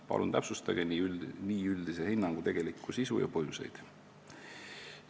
Palun täpsustage nii üldise hinnangu tegelikku sisu ja põhjuseid.